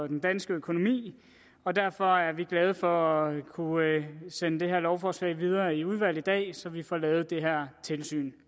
den danske økonomi og derfor er vi glade for at kunne sende det her lovforslag videre i udvalg i dag så vi får lavet det her tilsyn